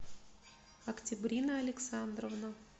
октябрина александровна